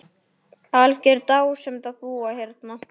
Algjör dásemd að búa hérna.